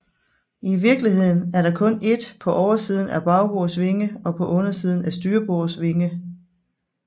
I virkeligheden er der kun ét på oversiden af bagbords vinge og på undersiden af styrbords vinge